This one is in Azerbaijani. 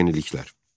Əsas yeniliklər.